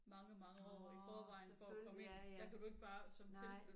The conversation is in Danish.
Nå selvfølgelig ja ja